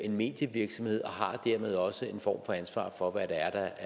en medievirksomhed og har dermed også en form for ansvar for hvad der